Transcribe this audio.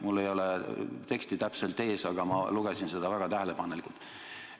Mul ei ole täpset teksti ees, aga ma lugesin seda väga tähelepanelikult.